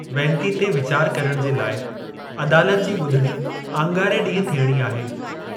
वेनती ते वीचार करणु जे लाइ अदालत जी ॿुधणी आङारे ॾींहं थियणी आहे।